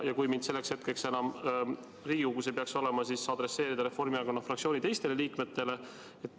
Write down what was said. Kui mind selleks hetkeks enam Riigikogus ei peaks olema, siis adresseerige see vastus Reformierakonna fraktsiooni teistele liikmetele.